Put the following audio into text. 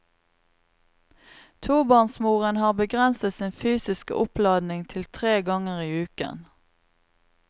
Tobarnsmoren har begrenset sin fysiske oppladning til tre ganger i uken.